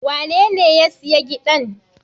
Wanene ya siya giɗan?